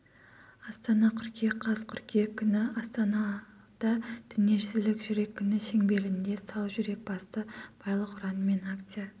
астана қыркүйек қаз қыркүйек күні астанала дүниежүзілік жүрек күні шеңберінде сау жүрек басты байлық ұранымен акция